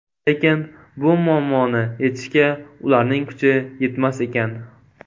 Lekin bu muammoni yechishga ularning kuchi yetmas ekan.